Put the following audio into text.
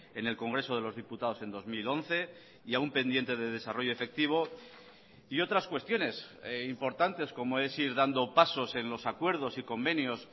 en el congreso de los diputados en dos mil once y aún pendiente de desarrollo efectivo y otras cuestiones importantes como es ir dando pasos en los acuerdos y convenios